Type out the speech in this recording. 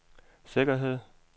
sikkerhed